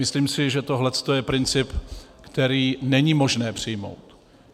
Myslím si, že tohle je princip, který není možné přijmout.